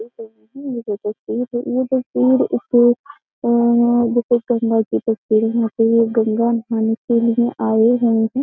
ये जो तस्वीर ये तस्वीर एक जैसे गंगा की तस्वीर है ये गंगा नहाने के लिए आए हैं उने --